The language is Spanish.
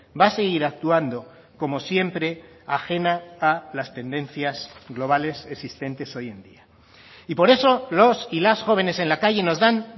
va a seguir actuando como siempre ajena a las tendencias globales existentes hoy en día y por eso los y las jóvenes en la calle nos dan